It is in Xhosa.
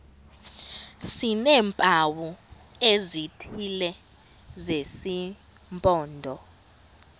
sineempawu ezithile zesimpondo